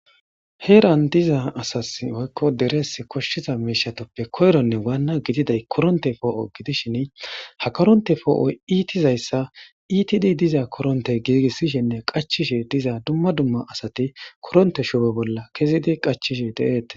Heeran diza asas oykko derees koshshiza meishatoppe koyronne waanna gididay koronte poo'o gidishin ha koronte foo'oy iitizayssa itidi diza koronte giigissishinne qachishi diza dumma dumma asati koronte shupe bolla kezidi qachishi de'eete.